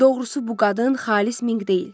Doğrusu, bu qadın xalis Minq deyil.